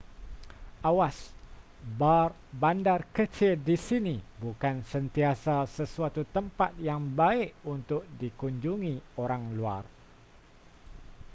awas bar bandar kecil di sini bukan sentiasa sesuatu tempat yang baik untuk dikunjungi orang luar